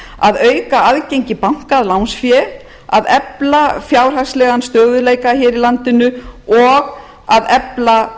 að auka aðgengi banka að lánsfé að efla fjárhagslegan stöðugleika hér í landinu og að efla